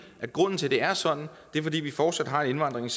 at grunden til at det er sådan er fordi vi fortsat har indvandringen